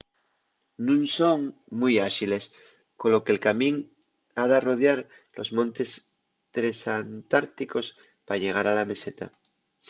nun son mui áxiles colo que’l camín ha d’arrodiar los montes tresantárticos pa llegar a la meseta